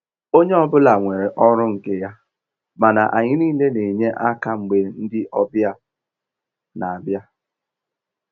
Onye ọ bụla nwere ọrụ nke ya, mana anyị niile n'enye aka mgbe ndị ọbịa n'abịa.